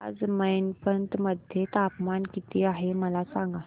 आज मैनपत मध्ये तापमान किती आहे मला सांगा